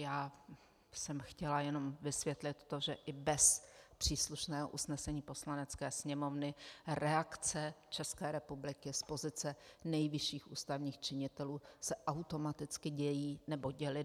Já jsem chtěla jenom vysvětlit to, že i bez příslušného usnesení Poslanecké sněmovny reakce České republiky z pozice nejvyšších ústavních činitelů se automaticky dějí nebo děly.